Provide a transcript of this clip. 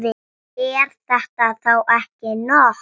Er þetta þá ekki nóg?